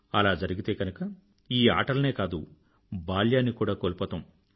అలా జరిగితే గనుక ఈ ఆటలనే కాదు బాల్యాన్ని కూడా కోల్పోతాం